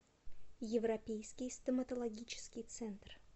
европейский стоматологический центр